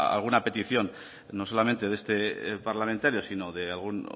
alguna petición no solamente de este parlamentario sino de algún